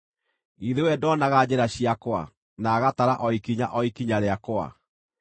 Githĩ we ndonaga njĩra ciakwa, na agatara o ikinya o ikinya rĩakwa?